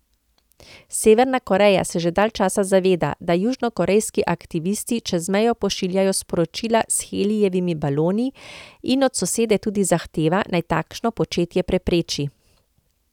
Severna Koreja se že dalj časa zaveda, da južnokorejski aktivisti čez mejo pošiljajo sporočila s helijevimi baloni, in od sosede tudi zahteva, naj takšno početje prepreči.